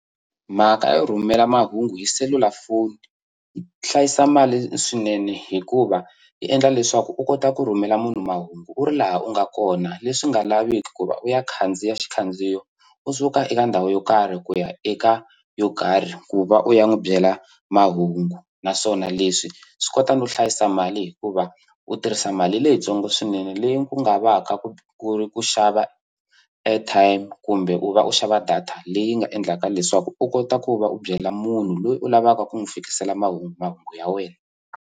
Mhaka yo rhumela mahungu hi selulafoni yi hlayisa mali swinene hikuva yi endla leswaku u kota ku rhumela munhu mahungu u ri laha u nga kona leswi nga laviki ku va u ya khandziya xikhandziyo u suka eka ndhawu yo karhi ku ya eka yo karhi ku va u ya n'wu byela mahungu naswona leswi swi kota no hlayisa mali hikuva u tirhisa mali leyitsongo swinene leyi u nga va ka ku ku ri ku xava airtime kumbe u va u xava data leyi nga endlaka leswaku u kota ku va u byela munhu loyi u lavaka ku n'wi fikisela mahungu mahungu ya wena.